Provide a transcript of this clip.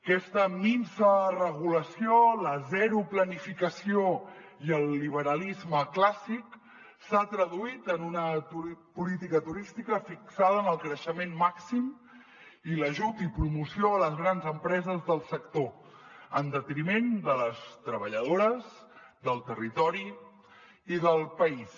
aquesta minsa regulació la zero planificació i el liberalisme clàssic s’han traduït en una política turística fixada en el creixement màxim i l’ajut i promoció de les grans empreses del sector en detriment de les treballadores del territori i del país